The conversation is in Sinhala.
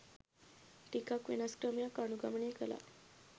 ටිකක් වෙනස් ක්‍රමයක් අනුගමනය කලා.